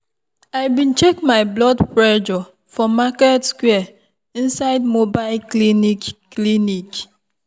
i bin check my blood pressure for market square inside mobile clinic. clinic.